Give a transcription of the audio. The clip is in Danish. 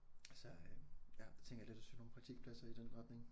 Så øh ja det tænker jeg lidt at søge nogle praktikpladser i den retning